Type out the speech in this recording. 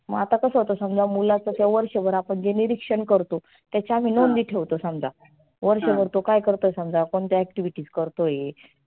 मग आता कसं होतं समजा मुलाच त्याच वर्षभर आपण जे निरिक्षण करतो त्याच्या आम्ही नोंदी ठेवतो समजा. वर्षभर तो काय करतो समजा, कोणत्या activities करतो आहे.